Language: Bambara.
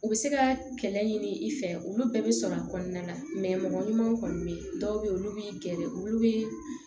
U bɛ se ka kɛlɛ ɲini i fɛ olu bɛɛ bɛ sɔrɔ a kɔnɔna na mɔgɔ ɲumanw kɔni bɛ yen dɔw bɛ yen olu b'i gɛrɛ olu bɛ